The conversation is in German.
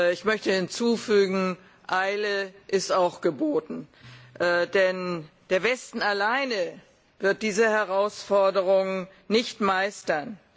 Ich möchte hinzufügen Eile ist auch geboten, denn der Westen allei wird diese Herausforderungen nicht meistern.